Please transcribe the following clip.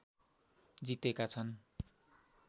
जितेका छन्